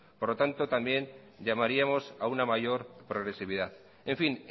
por lo tanto también llamaríamos a una mayor progresividad en fin